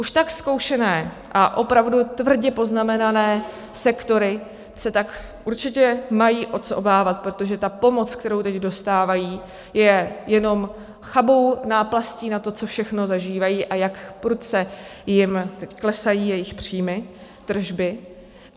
Už tak zkoušené a opravdu tvrdě poznamenané sektory se tak určitě mají o co obávat, protože ta pomoc, kterou teď dostávají, je jenom chabou náplastí na to, co všechno zažívají a jak prudce jim teď klesají jejich příjmy, tržby.